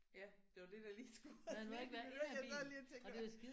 Ja det var det der lige skulle ved du hvad jeg sad lige og tænkte